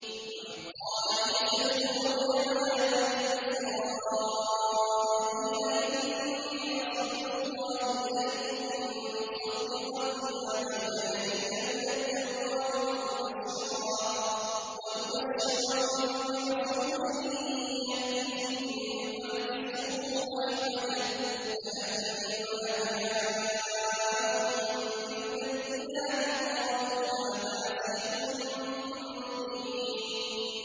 وَإِذْ قَالَ عِيسَى ابْنُ مَرْيَمَ يَا بَنِي إِسْرَائِيلَ إِنِّي رَسُولُ اللَّهِ إِلَيْكُم مُّصَدِّقًا لِّمَا بَيْنَ يَدَيَّ مِنَ التَّوْرَاةِ وَمُبَشِّرًا بِرَسُولٍ يَأْتِي مِن بَعْدِي اسْمُهُ أَحْمَدُ ۖ فَلَمَّا جَاءَهُم بِالْبَيِّنَاتِ قَالُوا هَٰذَا سِحْرٌ مُّبِينٌ